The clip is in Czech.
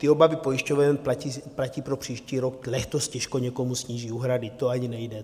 Ty obavy pojišťoven platí pro příští rok, letos těžko někomu sníží úhrady, to ani nejde.